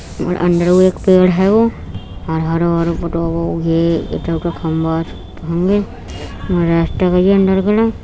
और अंदरो एक पेड़ हेगो और हरो हरो फोटो गई अंदर गेलो।